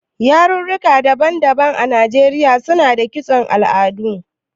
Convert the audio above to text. Yarurruka daban-daban a Najeriya suna da kiston al'adu.